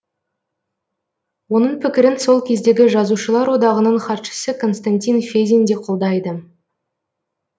оның пікірін сол кездегі жазушылар одағының хатшысы константин федин де қолдайды